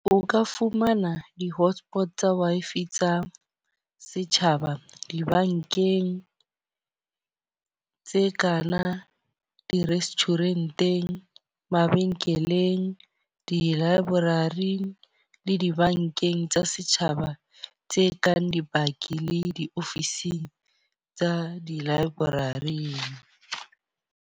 O ka fumana di-hotspot tsa Wi-Fi tsa setjhaba dibankeng tse kana. Di-restaurant-eng, mabenkeleng, di-library le dibankeng tsa setjhaba tse kang dibaki le diofising tsa di-library-ing.